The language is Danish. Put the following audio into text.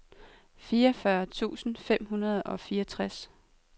fireogfyrre tusind fem hundrede og fireogtres